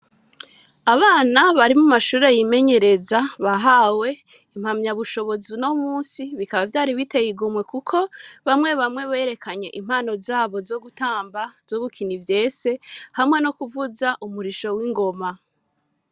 Abana bari mu mashuri yimenyereza bahawe impamya bushobozi uno munsi bikaba vyari biteye igomwe kuko bamwe bamwe berekanye impano zabo zogutamba zo gukina ivyese hamwe no kuvuza urisho w'ingoma.